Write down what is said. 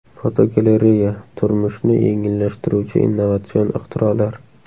Fotogalereya: Turmushni yengillashtiruvchi innovatsion ixtirolar.